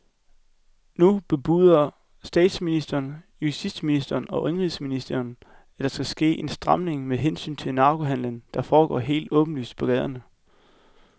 Nu bebuder både statsminister, justitsminister og indenrigsminister, at der skal ske en stramning med hensyn til narkohandelen, der foregår helt åbenlyst på gaderne.